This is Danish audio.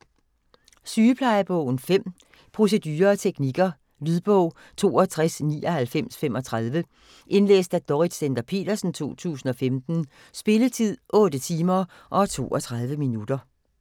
Sygeplejebogen 5 Procedurer og teknikker. Lydbog 629935 Indlæst af Dorrit Stender-Petersen, 2015. Spilletid: 8 timer, 32 minutter.